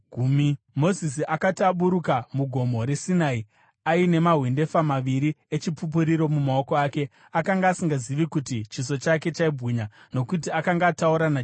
Mozisi akati aburuka muGomo reSinai aine mahwendefa maviri eChipupuriro mumaoko ake, akanga asingazivi kuti chiso chake chaibwinya nokuti akanga ataura naJehovha.